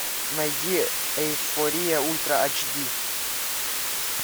найди эйфория ультра ач ди